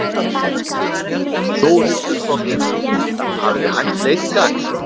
Þórhildur Þorkelsdóttir: Hafið þið hætt leit í dag?